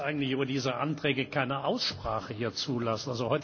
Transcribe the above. Ich kann jetzt eigentlich über diese Anträge keine Aussprache hier zulassen.